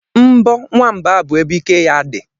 Mbọ nwamba bụ ebe ike ya dị